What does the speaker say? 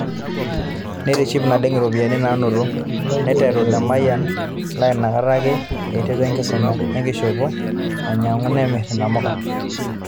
Neitiship naleng iropiyiani naanoto, neiteru Lemayian laa inakata ake eiterua enkisuma enkishopo ainyang'u nemirr inamuka.